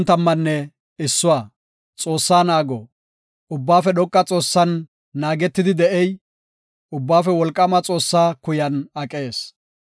Ubbaafe Dhoqa Xoossan naagetidi de7ey, Ubbaafe Wolqaama Xoossaa kuyan aqees.